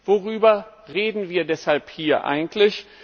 Worüber reden wir deshalb hier eigentlich?